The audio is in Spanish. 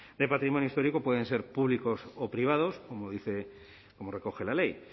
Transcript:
de patrimonio histórico pueden ser públicos o privados como dice como recoge la ley